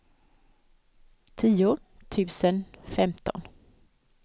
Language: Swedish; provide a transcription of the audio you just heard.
tio tusen femton